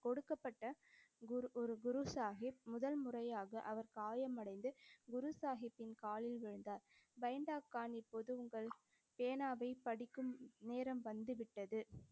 கொடுக்கப்பட்ட குரு ஒரு குரு சாஹிப் முதல் முறையாக அவர் காயமடைந்து குரு சாஹிப்பின் காலில் விழுந்தார். கான் இப்போது உங்கள் பேனாவை படிக்கும் நேரம் வந்து விட்டது.